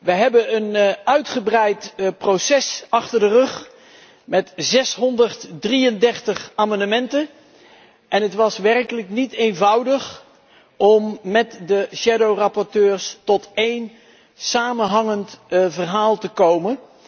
Wij hebben een uitgebreid proces achter de rug met 633 amendementen en het was werkelijk niet eenvoudig om met de schaduwrapporteurs tot één samenhangend verhaal te komen.